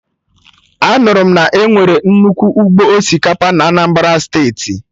Anụrụ m na enwere nnukwu ụgbọ osikapa na Anambra Steeti